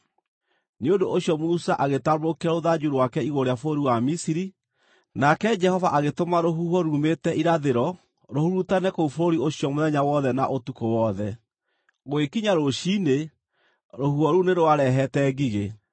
Nĩ ũndũ ũcio Musa agĩtambũrũkia rũthanju rwake igũrũ rĩa bũrũri wa Misiri, nake Jehova agĩtũma rũhuho ruumĩte irathĩro rũhurutane kũu bũrũri ũcio mũthenya wothe na ũtukũ wothe. Gũgĩkinya rũciinĩ rũhuho rũu nĩ rwarehete ngigĩ.